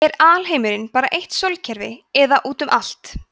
er alheimurinn bara eitt sólkerfi eða útum allt